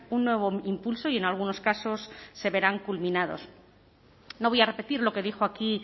un nuevo impulso y en algunos casos se verán culminados no voy a repetir lo que dijo aquí